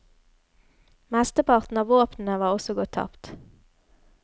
Mesteparten av våpnene var også gått tapt.